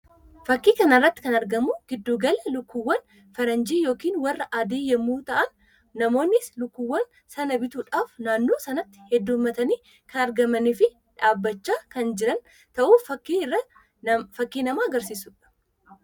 Fakkii kana irratti kan argamu giddu gala lukkuuwwaan faranjii yookiin warra adii yammuu fa'an; namoonnis lukkuuwwaan sana bituudhaaf naannoo sanaatti heddumatanij kan argamanii fi dhaabbachaa kan jiran ta'u fakkii namatti agarsiisuu dha.